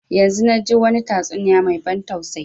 Yanzun na ji wani tastuniya mai ban tausayi